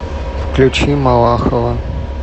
включи малахова